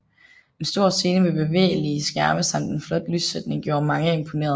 En stor scene med bevægelige skærme samt en flot lyssætning gjorde mange imponerede